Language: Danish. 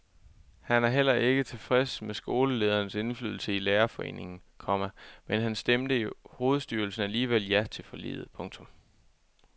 Han er heller ikke tilfreds med skoleledernes indflydelse i lærerforeningen, komma men han stemte i hovedstyrelsen alligevel ja til forliget. punktum